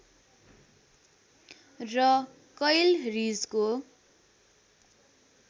र कैल रीजको